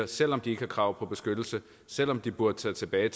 selv om de ikke har krav på beskyttelse selv om de burde tage tilbage